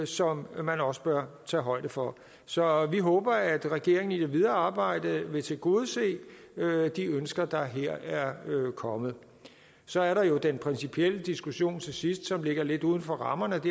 som man også bør tage højde for så vi håber at regeringen i det videre arbejde vil tilgodese de ønsker der her er kommet så er der jo den principielle diskussion til sidst som ligger lidt uden for rammerne af